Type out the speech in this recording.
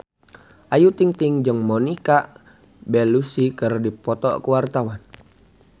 Ayu Ting-ting jeung Monica Belluci keur dipoto ku wartawan